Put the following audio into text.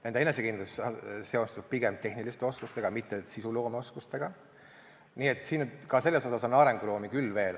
Nende enesekindlus seostub pigem tehniliste oskustega, mitte sisuloomeoskustega, nii et selles on arenguruumi.